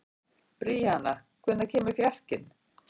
Bríanna, hvenær kemur fjarkinn?